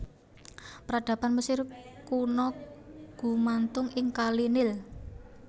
Peradaban Mesir Kuna gumantung ing kali Nil